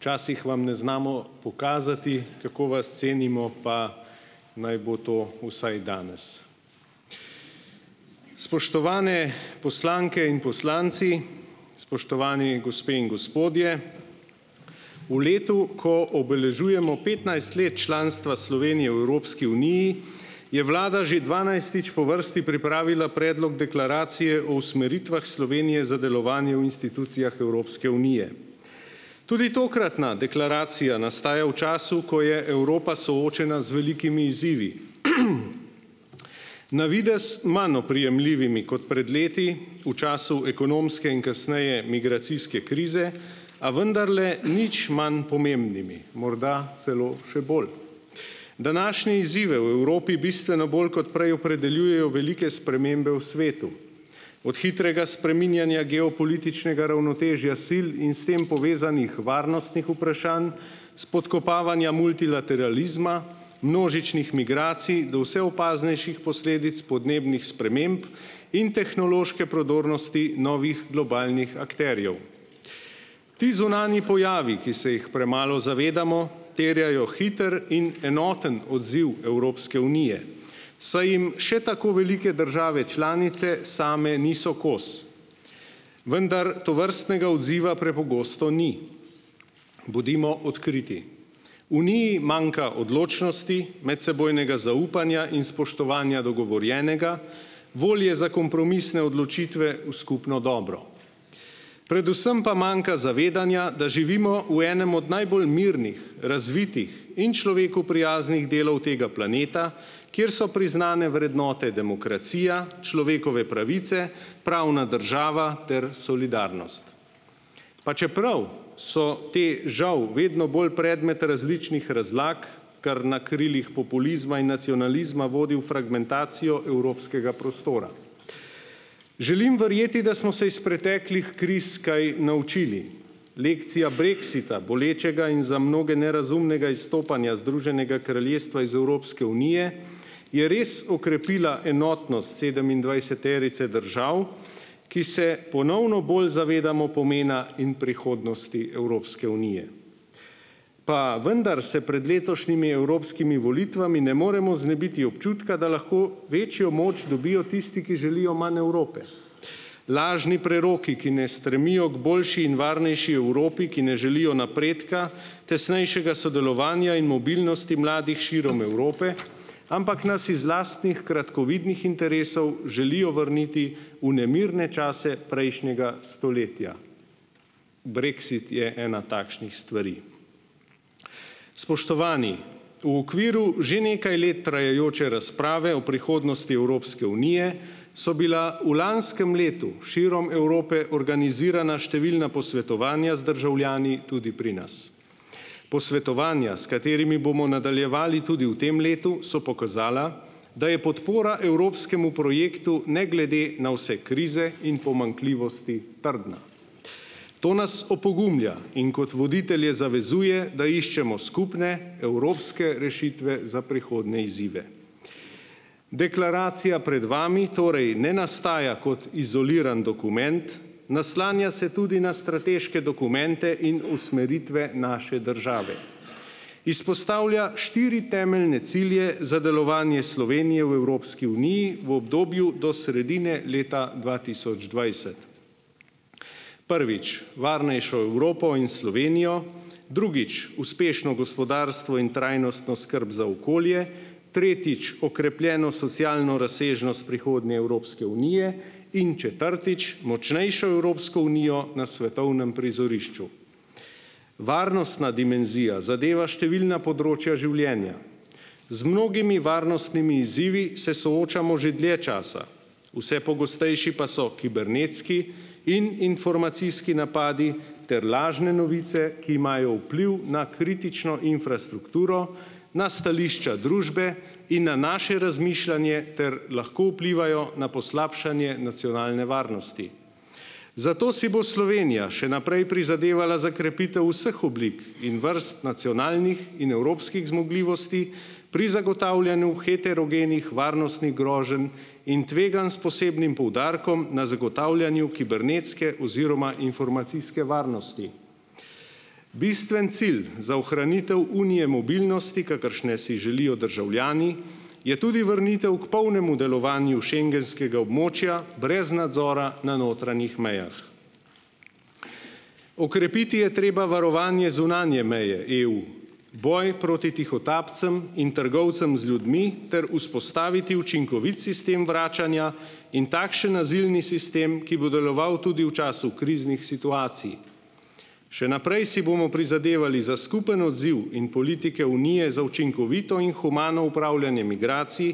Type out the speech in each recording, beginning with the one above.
včasih vam ne znamo pokazati, kako vas cenimo, pa naj bo to vsaj danes, spoštovane poslanke in poslanci, spoštovani gospe in gospodje, v letu, ko obeležujemo petnajst let članstva Slovenije v Evropski uniji, je vlada že dvanajstič po vrsti pripravila predlog deklaracije o usmeritvah Slovenije za delovanje v institucijah Evropske unije, tudi tokratna deklaracija nastaja v času, ko je Evropa soočena z velikimi izzivi, navidez manj oprijemljivimi kot pred leti, v času ekonomske in kasneje migracijske krize, a vendarle nič manj pomembnimi, morda celo še bolj, današnje izzive v Evropi bistveno bolj kot prej opredeljujejo velike spremembe v svetu, od hitrega spreminjanja geopolitičnega ravnotežja sil in s tem povezanih varnostnih vprašanj spodkopavanja multilateralizma, množičnih migracij do vse opaznejših posledic podnebnih sprememb in tehnološke prodornosti novih globalnih akterjev, ti zunanji pojavi, ki se jih premalo zavedamo, terjajo hiter in enoten odziv Evropske unije, saj jim še tako velike države članice same niso kos, vendar tovrstnega odziva prepogosto ni, bodimo odkriti, Uniji manjka odločnosti, medsebojnega zaupanja in spoštovanja do govorjenega, volje za kompromisne odločitve v skupno dobro, predvsem pa manjka zavedanja, da živimo v enem od najbolj mirnih razvitih in človeku prijaznih delov tega planeta, kjer so priznane vrednote, demokracija, človekove pravice, pravna država ter solidarnost, pa čeprav so te žal vedno bolj predmet različnih razlag. kar na krilih populizma in nacionalizma vodi v fragmentacijo evropskega prostora, želim verjeti, da smo se iz kriz kaj naučili, lekcija brexita bolečega in za mnoge nerazumnega izstopanja Združenega kraljestva iz Evropske unije je res okrepila enotnost sedemindvajseterice držav, ki se ponovno bolj zavedamo pomena in prihodnosti Evropske unije, pa vendar se pred letošnjimi evropskimi volitvami ne moremo znebiti občutka, da lahko večjo moč dobijo tisti, ki želijo manj Evrope, lažni preroki, ki ne stremijo k boljši in varnejši Evropi, ki ne želijo napredka, tesnejšega sodelovanja in mobilnosti mladih širom Evrope, ampak nas iz lastnih kratkovidnih interesov želijo vrniti v nemirne čase prejšnjega stoletja. Brexit je ena takšnih stvari. Spoštovani, v okviru že nekaj let trajajoče razprave o prihodnosti Evropske unije so bila v lanskem letu širom Evrope organizirana številna posvetovanja z državljani, tudi pri nas, posvetovanja, s katerimi bomo nadaljevali tudi v tem letu, so pokazala da je podpora evropskemu projektu ne glede na vse krize in pomanjkljivosti trdna, to nas opogumlja in kot voditelje zavezuje, da iščemo skupne evropske rešitve za prihodnje izzive, deklaracija pred vami torej ne nastaja kot izoliran dokument, naslanja se tudi na strateške dokumente in usmeritve naše države, izpostavlja štiri temeljne cilje za delovanje Slovenije v Evropski uniji v obdobju do sredine leta dva tisoč dvajset, prvič, varnejšo Evropo in Slovenijo drugič, uspešno gospodarstvo in trajnostno skrb za okolje, tretjič, okrepljeno socialno razsežnost prihodnje Evropske unije, in četrtič, močnejšo Evropsko unijo na svetovnem prizorišču, varnostna dimenzija zadeva številna področja življenja, z mnogimi varnostnimi izzivi se soočamo že dlje časa, vse pogostejši pa so kibernetski in informacijski napadi ter lažne novice, ki imajo vpliv na kritično infrastrukturo, na stališča družbe in na naše razmišljanje ter lahko vplivajo na poslabšanje nacionalne varnosti, zato si bo Slovenija še naprej prizadevala za krepitev vseh oblik in vrst nacionalnih in evropskih zmogljivosti pri zagotavljanju heterogenih varnostnih groženj in tveganj s posebnim poudarkom na zagotavljanju kibernetske oziroma informacijske varnosti, bistveni cilj za ohranitev unije mobilnosti, kakršne si želijo državljani, je tudi vrnitev k polnemu delovanju schengenskega območja brez nadzora na notranjih mejah, okrepiti je treba varovanje zunanje meje EU, boj proti tihotapcem in trgovcem z ljudmi ter vzpostaviti učinkovit sistem vračanja in takšen azilni sistem, ki bo deloval tudi v času kriznih situacij, še naprej si bomo prizadevali za skupni odziv in politike unije za učinkovito in humano opravljanje migracij,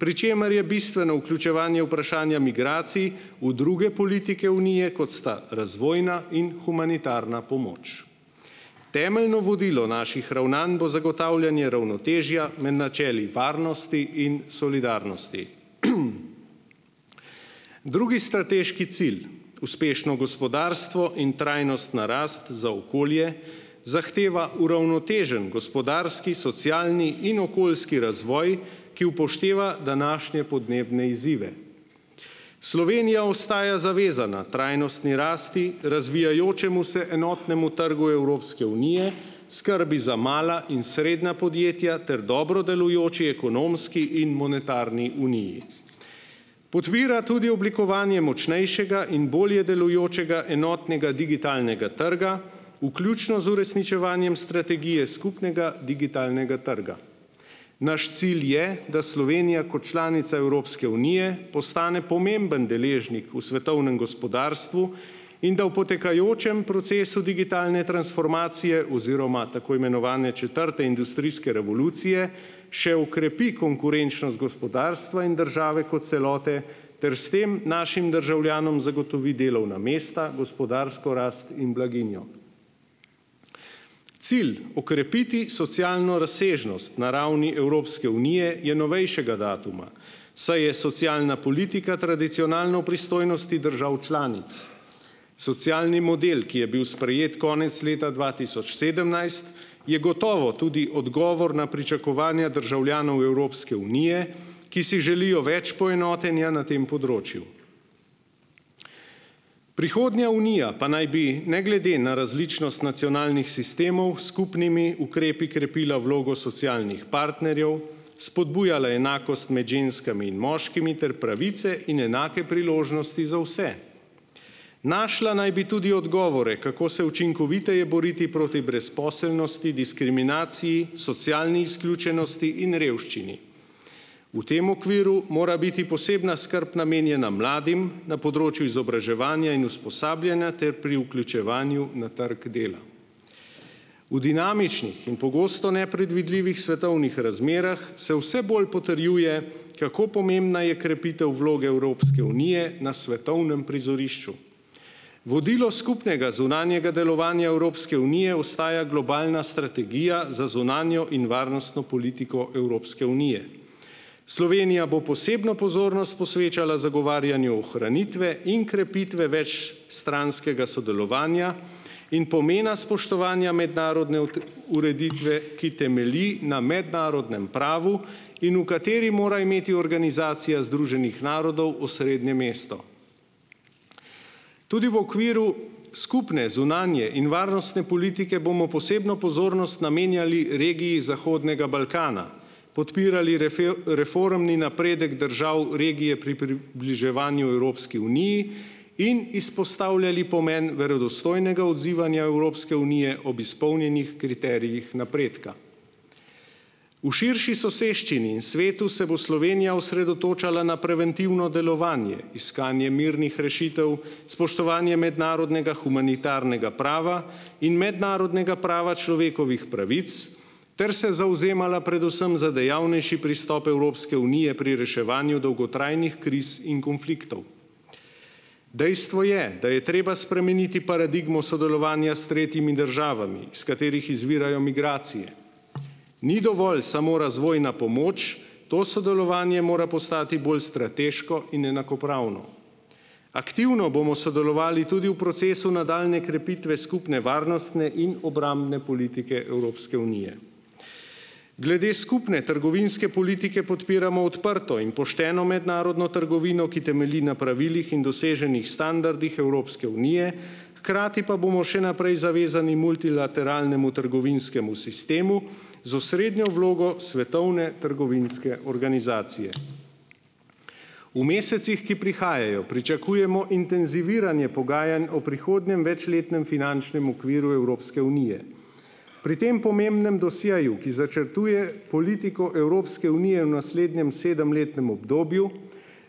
pri čemer je bistveno vključevanje vprašanja migracij v druge politike Unije, kot sta razvojna in humanitarna pomoč, temeljno naših ravnanj bo zagotavljanje ravnotežja med načeli varnosti in solidarnosti, drugi strateški cilj, uspešno gospodarstvo in trajnostna rast za okolje, zahteva uravnotežen gospodarski socialni in okoljski razvoj, ki upošteva današnje podnebne izzive, Slovenija ostaja zavezana trajnostni rasti, razvijajočemu se enotnemu trgu Evropske unije, skrbi za mala in srednja podjetja ter dobro delujoči ekonomski in monetarni uniji, podpira tudi oblikovanje močnejšega in bolje delujočega enotnega digitalnega trga, vključno z uresničevanjem strategije skupnega digitalnega trga, naš cilj je, da Slovenija kot članica Evropske unije postane pomemben deležnik v svetovnem gospodarstvu in da v potekajočem procesu digitalne transformacije oziroma tako imenovane četrte industrijske revolucije še okrepi konkurenčnost gospodarstva in države kot celote ter s tem našim državljanom zagotovi delovna mesta, gospodarsko rast in blaginjo, cilj okrepiti socialno razsežnost na ravni Evropske unije je novejšega datuma, saj je socialna politika tradicionalno v pristojnosti držav članic, socialni model, ki je bil sprejet konec leta dva tisoč sedemnajst, je gotovo tudi odgovor na pričakovanja državljanov Evropske unije, ki si želijo več poenotenja na tem področju, prihodnja Unija pa naj bi ne glede na različnost nacionalnih sistemov s skupnimi ukrepi krepila vlogo socialnih partnerjev, spodbujala enakost med ženskami in moškimi ter pravice in enake priložnosti za vse, našla naj bi tudi odgovore, kako se učinkoviteje boriti proti brezposelnosti, diskriminaciji, socialni izključenosti in revščini, v tem okviru mora biti posebna skrb namenjena mladim na področju izobraževanja in usposabljanja ter pri vključevanju na trgu dela. V dinamičnih in pogosto nepredvidljivih svetovnih razmerah se vse bolj potrjuje, kako pomembna je krepitev vloge Evropske unije na svetovnem prizorišču, vodilo skupnega zunanjega delovanja Evropske unije ostaja globalna strategija za zunanjo in varnostno politiko Evropske unije, Slovenija bo posebno pozornost posvečala zagovarjanju ohranitve in krepitve več stranskega sodelovanja in pomena spoštovanja mednarodne ureditve, ki temelji na mednarodnem pravu in v kateri mora imeti organizacija Združenih narodov osrednje mesto, tudi v okviru skupne zunanje in varnostne politike bomo posebno pozornost namenjali regiji Zahodnega Balkana, podpirali reformni napredek držav regije bliževanju Evropski uniji in izpostavljali pomen verodostojnega odzivanja Evropske unije ob izpolnjenih kriterijih napredka, v širši soseščini in svetu se bo Slovenija osredotočala na preventivno delovanje, iskanje mirnih rešitev, spoštovanje mednarodnega humanitarnega prava in mednarodnega prava človekovih pravic ter se predvsem za dejavnejši pristop Evropske unije pri reševanju dolgotrajnih kriz in konfliktov, dejstvo je, da je treba spremeniti paradigmo sodelovanja s tretjimi državami, iz katerih izvirajo migracije, ni dovolj samo razvojna pomoč, to sodelovanje mora postati bolj strateško in enakopravno, aktivno bomo sodelovali tudi v procesu nadaljnje krepitve skupne varnostne in obrambne politike Evropske unije. Glede skupne trgovinske politike podpiramo odprto in pošteno mednarodno trgovino, ki temelji na pravilih in doseženih standardih Evropske unije, hkrati pa bomo še naprej zavezani multilateralnemu trgovinskemu sistemu z osrednjo vlogo Svetovne trgovinske organizacije. V mesecih, ki prihajajo, pričakujemo intenziviranje pogajanj o prihodnjem večletnem finančnem okviru Evropske unije, pri tem pomembnem dosjeju, ki začrtuje politiko Evropske unije v naslednjem sedemletnem obdobju,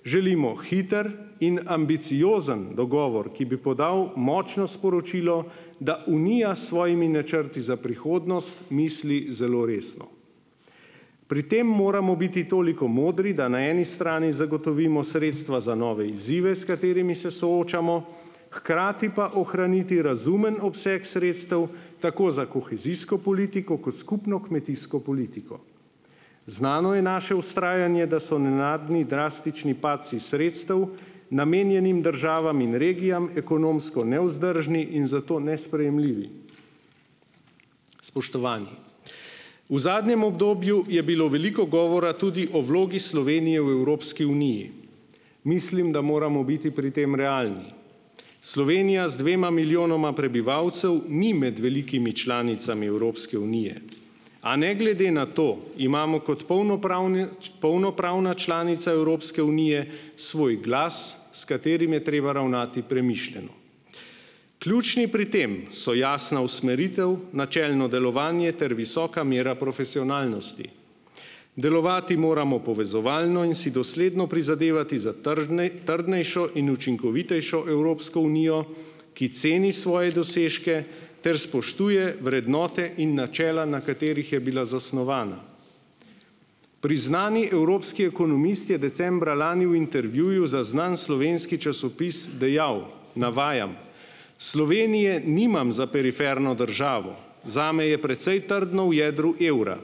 želimo hiter in ambiciozen dogovor, ki bi podal močno sporočilo, da Unija s svojimi načrti za prihodnost misli zelo resno, pri tem moramo biti toliko modri, da na eni strani zagotovimo sredstva za nove izzive, s katerimi se soočamo, hkrati pa ohraniti razumen obseg sredstev tako za kohezijsko politiko kot skupno kmetijsko politiko, znano je naše vztrajanje, da so nenadni drastični padci sredstev, namenjenih državam in regijam, ekonomsko nevzdržni in zato nesprejemljivi. Spoštovani, v zadnjem obdobju je bilo veliko govora tudi o vlogi Slovenije v Evropski uniji, mislim, da moramo biti pri tem realni, Slovenija z dvema milijonoma prebivalcev ni med velikimi članicami Evropske unije, a ne glede na to imamo kot polnopravne, polnopravna članica Evropske unije svoj glas, s katerim je treba ravnati premišljeno, ključni pri tem so jasna usmeritev, načelno delovanje ter visoka mera profesionalnosti, delovati moramo povezovalno in si dosledno prizadevati za trdnejšo in učinkovitejšo Evropsko unijo, ki ceni svoje dosežke ter spoštuje vrednote in načela, na katerih je bila zasnovana. Priznani evropski ekonomist je decembra lani v intervjuju za znan slovenski časopis dejal, navajam: "Slovenije nimam za periferno državo, zame je precej trdno v jedru evra,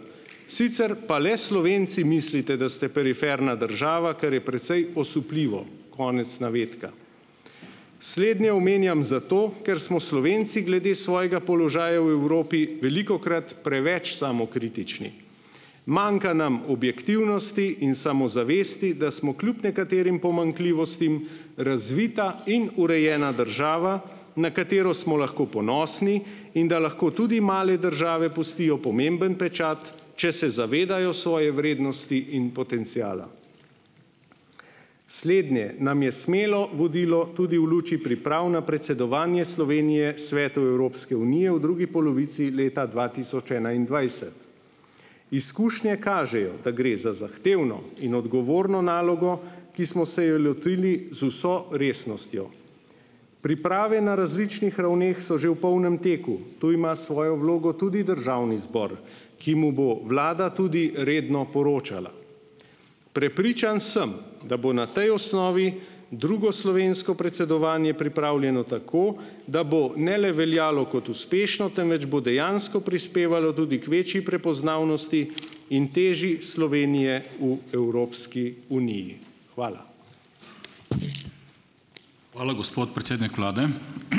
sicer pa le Slovenci mislite, da ste periferna država, kar je precej osupljivo." Konec navedka. Slednje omenjam zato, ker smo Slovenci glede svojega položaja v Evropi velikokrat preveč samokritični, manjka nam objektivnosti in samozavesti, da smo kljub nekaterim pomanjkljivostim razvita in urejena država, na katero smo lahko ponosni, in da lahko tudi male države pustijo pomemben pečat, če se zavedajo svoje vrednosti in potenciala, slednje nam je smelo vodilo tudi v luči pripravi na predsedovanje Slovenije Svetu Evropske unije v drugi polovici leta dva tisoč enaindvajset, izkušnje kažejo, da gre za zahtevno in odgovorno nalogo, ki smo se jo lotili z vso resnostjo, priprave na različnih so že v polnem teku, tu ima svojo vlogo tudi državni zbor, ki mu bo vlada tudi redno poročala, prepričan sem, da bo na tej osnovi drugo slovensko predsedovanje pripravljeno tako, da bo ne le veljalo kot uspešno, temveč bo dejansko prispevalo tudi k večji prepoznavnosti in teži Slovenije v Evropski uniji. Hvala. Hvala, gospod predsednik vlade.